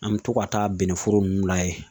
An me to ka taa bɛnɛ foro ninnu layɛ